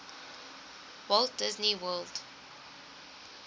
walt disney world